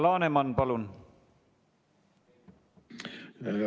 Alar Laneman, palun!